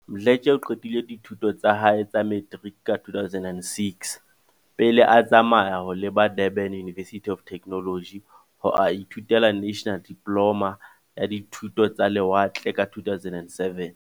Mdletshe o qetile dithuto tsa hae tsa materiki ka 2006, pele a tsamaya ho leba Durban University of Techno logy ho a ithutela National Diploma ya Dithuto tsa Le watle ka 2007.